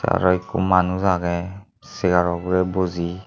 aro ikko manus agey chegarw ugrey buji.